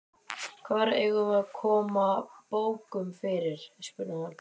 Hvar eigum við að koma bókunum fyrir? spurði hann.